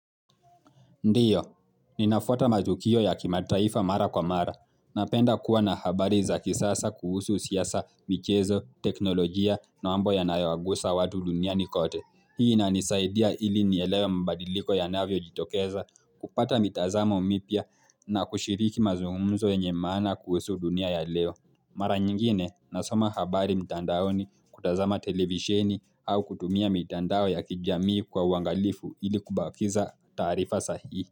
Ndiyo, ninafuata matukio ya kimataifa mara kwa mara, napenda kuwa na habari za kisasa kuhusu siasa, michezo, teknolojia, na mambo yanayo wagusa watu dunia kote. Hii inanisaidia ili nielewa mbadiliko ya navyo jitokeza kupata mitazamo mipya na kushiriki mazungumzo yenye maana kuhusu dunia ya leo. Mara nyingine nasoma habari mtandaoni kutazama televisheni au kutumia mitandao ya kijamii kwa uangalifu ili kubakiza taarifa sahi.